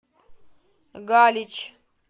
галич